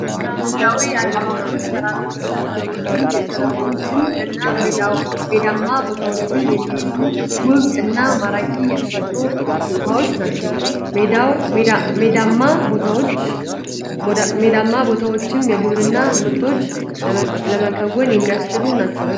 መልካምድራዊ አቀማመጦች ተራሮችን፣ ሸንተረሮችን ፣ሸለቆዎችን እና ሜዳማ ቦታዎችን የሚይዙ ውብ እና ማራኪ የተፈጥሮ ስጦታዎች ናቸው። ሜዳማ ቦታወችም የግብርና ምርቶችን ለመከወን የሚያስችሉ ናቸው።